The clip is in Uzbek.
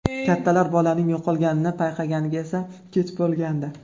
Kattalar bolaning yo‘qolganini payqaganida esa kech bo‘lgandi.